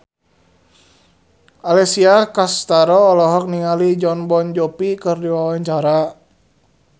Alessia Cestaro olohok ningali Jon Bon Jovi keur diwawancara